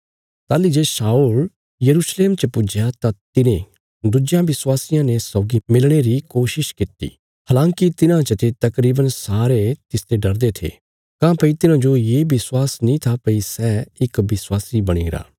ताहली जे शाऊल यरूशलेम च पुज्जया तां तिने दुज्जेयां विश्वासियां ने सौगी मिलणे री कोशिश किति हलांकि तिन्हां चते तकरीवन सारे तिसते डरदे रै काँह्भई तिन्हांजो ये विश्वास नीं था भई सै इक विश्वासी बणी गरा